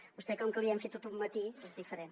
a vostè com que li hem fet tot un matí és diferent